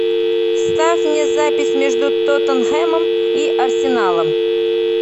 ставь мне запись между тоттенхэмом и арсеналом